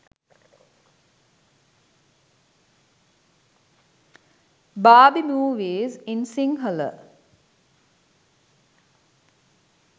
barbie movies in sinhala